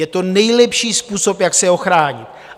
Je to nejlepší způsob, jak se ochránit.